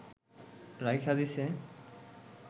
রাইখা দিছে